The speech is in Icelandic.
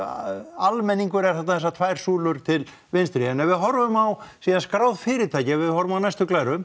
almenningur er þarna þessar tvær súlur til vinstri en ef við horfum á síðan skráð fyrirtæki ef við horfum á næstu glæru